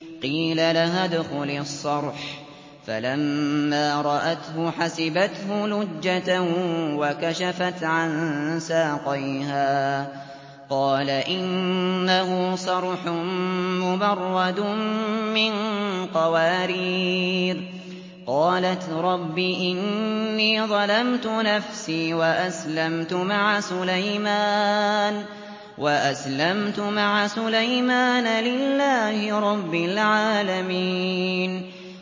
قِيلَ لَهَا ادْخُلِي الصَّرْحَ ۖ فَلَمَّا رَأَتْهُ حَسِبَتْهُ لُجَّةً وَكَشَفَتْ عَن سَاقَيْهَا ۚ قَالَ إِنَّهُ صَرْحٌ مُّمَرَّدٌ مِّن قَوَارِيرَ ۗ قَالَتْ رَبِّ إِنِّي ظَلَمْتُ نَفْسِي وَأَسْلَمْتُ مَعَ سُلَيْمَانَ لِلَّهِ رَبِّ الْعَالَمِينَ